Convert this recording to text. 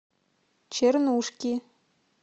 чернушки